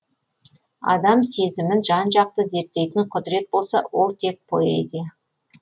адам сезімін жан жақты зерттейтін құдірет болса ол тек поэзия